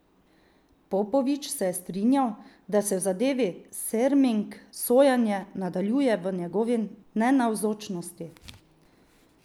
Popovič se je strinjal, da se v zadevi Serming sojenje nadaljuje v njegovi nenavzočnosti.